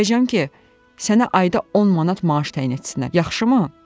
Deyəcəm ki, sənə ayda 10 manat maaş təyin etsinlər, yaxşımı?